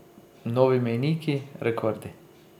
Novi mejniki, rekordi?